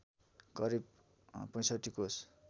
करिब ६५ कोष